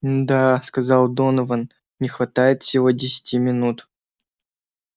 н-да сказал донован не хватает всего десяти минут